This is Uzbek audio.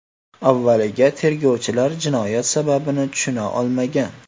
Avvaliga tergovchilar jinoyat sababini tushuna olmagan.